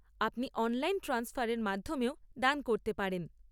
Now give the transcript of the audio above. আপনি অনলাইন ট্রান্সফারের মাধ্যমেও দান করতে পারেন।